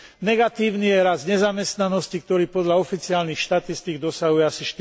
Negatívny je rast nezamestnanosti, ktorý podľa oficiálnych štatistík dosahuje asi